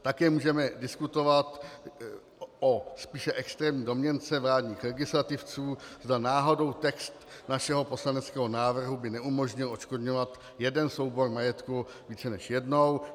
Také můžeme diskutovat o spíše extrémní domněnce vládních legislativců, zda náhodou text našeho poslaneckého návrhu by neumožnil odškodňovat jeden soubor majetku více než jednou.